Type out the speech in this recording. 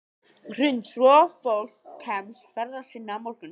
Hrund: Svo fólk kemst ferða sinna á morgun?